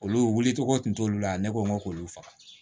Olu wulicogo tun t'olu la ne ko n ko k'olu faga